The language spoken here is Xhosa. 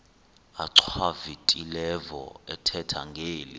achwavitilevo ethetha ngeli